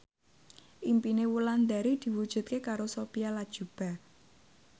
impine Wulandari diwujudke karo Sophia Latjuba